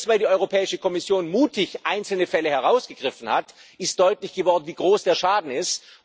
Und erst als die Europäische Kommission mutig einzelne Fälle herausgegriffen hat, ist deutlich geworden, wie groß der Schaden ist.